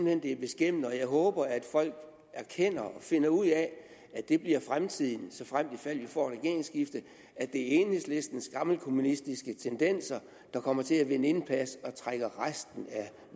hen det er beskæmmende og jeg håber at folk erkender og finder ud af at det bliver fremtiden såfremt og ifald vi får et regeringsskifte det er enhedslistens gammelkommunistiske tendenser der kommer til at vinde indpas og trækker resten af